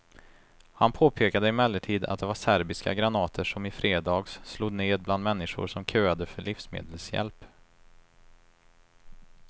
Han påpekade emellertid att det var serbiska granater som i fredags slog ned bland människor som köade för livsmedelshjälp.